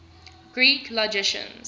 greek logicians